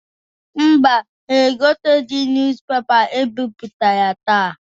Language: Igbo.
Mba, ha egoteghi nuz pepa e bipụtara taa.